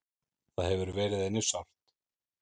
Það hefur verið henni sárt.